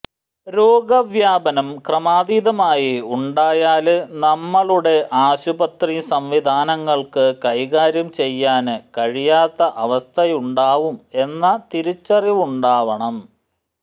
രോഗവ്യാപനം ക്രമാതീതമായി ഉണ്ടായാല് നമ്മുടെ ആശുപത്രി സംവിധാനങ്ങള്ക്ക് കൈകാര്യം ചെയ്യാന് കഴിയാത്ത അവസ്ഥയുണ്ടാവും എന്ന തിരിച്ചറിവുണ്ടാവണം